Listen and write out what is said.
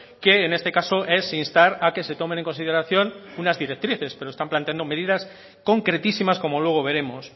que en este caso es instar a que se tomen en consideración unas directrices pero están planteando medidas concretísimas como luego veremos